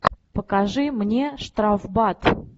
покажи мне штрафбат